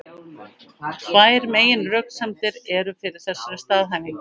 Tvær meginröksemdir eru fyrir þessari staðhæfingu.